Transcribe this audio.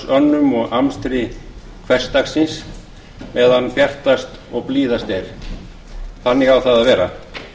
starfsönnum og amstri hversdagsins meðan bjartast og blíðast var þannig á það að vera